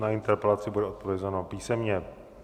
Na interpelaci bude odpovězeno písemně.